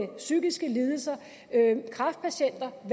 psykiske lidelser kræftpatienter